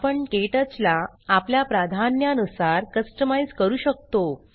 आपण क्टच ला आपल्या प्रधान्या नुसार कस्टमाइज़ करू शकतो